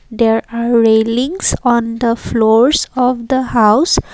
there are railings on the floors of the house.